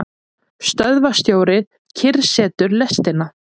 Stöðvarstjórinn kyrrsetur lestina.